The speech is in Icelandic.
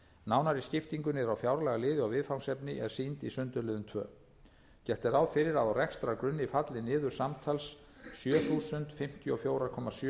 nánari skipting niður á fjárlagaliði og viðfangsefni er sýnd í sundurliðun annars gert er ráð fyrir að á rekstrargrunni falli niður samtals sjö þúsund fimmtíu og fjögur komma sjö